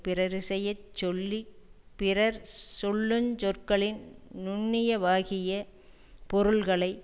பிறரிசைய சொல்லி பிறர் சொல்லு சொற்களின் நுண்ணியவாகிய பொருள்களை